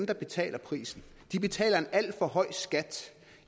der betaler prisen de betaler en alt for høj skat